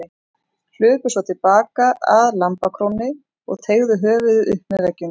Hlupu svo til baka að lambakrónni og teygðu höfuðið upp með veggjunum.